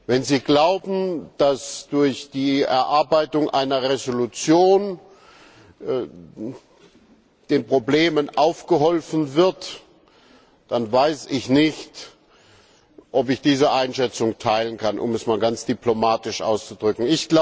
Wenn Sie glauben, dass durch die Ausarbeitung einer Entschließung den Problemen abgeholfen wird, dann weiß ich nicht, ob ich diese Einschätzung teilen kann, um es einmal ganz diplomatisch auszudrücken.